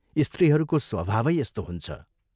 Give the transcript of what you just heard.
स्त्रीहरूको स्वभावै यस्तो हुन्छ।